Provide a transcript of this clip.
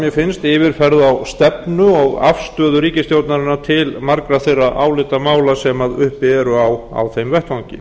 mér finnst yfirferð á stefnu og afstöðu ríkisstjórnarinnar til margra þeirra álitamála sem uppi eru á þeim vettvangi